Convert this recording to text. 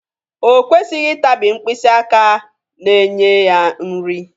O kwesịghị ịtabi mkpịsị aka na-enye ya nri.